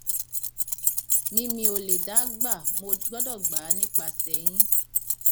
mi mi ò lè dá a gbà mo gbọdọ gbà á nípasẹ yín